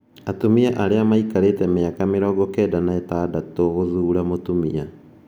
Atumia arĩa maikarĩte mĩaka 96 gũthuura mũtumia